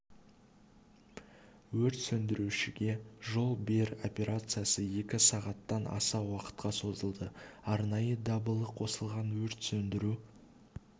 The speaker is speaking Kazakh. өрт сөндірушіге жол бер операциясы екі сағаттан аса уақытқа созылды арнайы дабылы қосылған өрт сөндіру